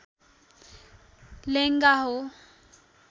लेङ्गा हो